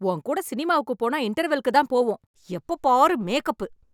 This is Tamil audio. உன் கூட சினிமாவுக்கு போனா இன்டெர்வல்க்கு தான் போவோம். எப்ப பாரு மேக்கப்பு.